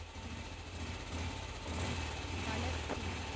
வளர்ச்சி